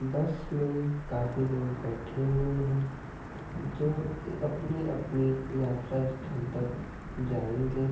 बस में काफी लोग बेठे हुए है जो अपनी-अपनी यात्रा स्थल तक जायेंगे।